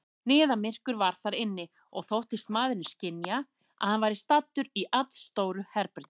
Niðamyrkur var þar inni, og þóttist maðurinn skynja, að hann væri staddur í allstóru herbergi.